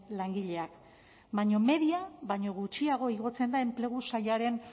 langileak baina media baino gutxiago igotzen da enplegu sailaren